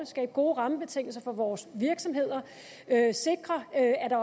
skabe gode rammebetingelser for vores virksomheder sikre at